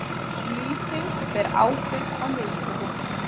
Lýsing ber ábyrgð á mistökum